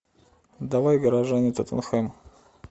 давай горожане тоттенхэм